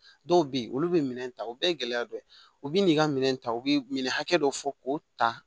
Dɔw be yen olu be minɛn ta o bɛɛ ye gɛlɛya dɔ ye u bi n'i ka minɛn ta u bi minɛn hakɛ dɔ fɔ k'o ta